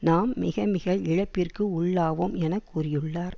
நாம் மிகமிக இழப்பிற்கு உள்ளாவோம் என கூறியுள்ளார்